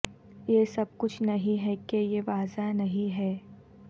یہ سب کچھ نہیں ہے کہ یہ واضح نہیں ہے